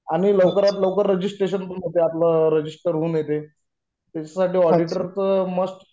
आणि लवकरात लवकर रजिस्ट्रेशन पण होते आपलं. रजिस्टर होऊन येते. याच्यासाठी ऑडिटर तर मस्ट